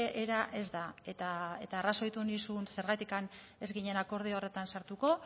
era ez da eta arrazoitu nizun zergatik ez ginen akordio horretan sartuko